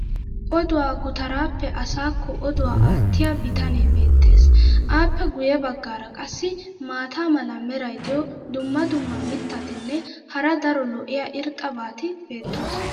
oduwaa gutaraappe asaakko oduwa aatiya bitanee beetees. appe guye bagaara qassi maata mala meray diyo dumma dumma mittatinne hara daro lo'iya irxxabati beettoosona.